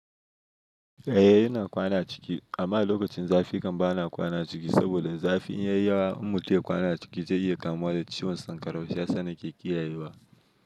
Eh ina kwana ciki amma lokacin zafi kam bana kwana ciki saboda zafi in ya yi wa in mutum ya kwana a ciki zai iya kamuwa da ciwon sankarau shi ya sa nake kiyayewa.